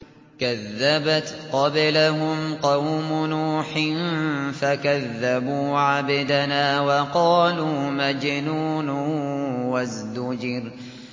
۞ كَذَّبَتْ قَبْلَهُمْ قَوْمُ نُوحٍ فَكَذَّبُوا عَبْدَنَا وَقَالُوا مَجْنُونٌ وَازْدُجِرَ